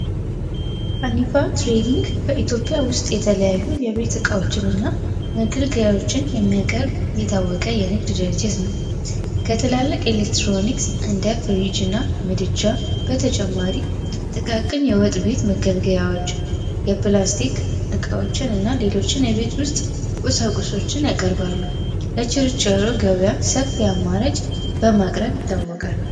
Trading በኢትዮጵያ ውስጥ የተለያዩ የቤት እቃዎችንና የንግድ ድርጅት ከትላልቅ ኤሌክትሮኒክስ እንደ ፍሪጅ እና ምድጃ በተጨማሪ ያወጥ ቤት መገልገያዎች የፕላስቲክዎችን እና ሌሎችን የቤት ውስጥ ቁሳቁሶችን ለቸርቻሪ አማራጭ በማቅረብ ይታወቃል።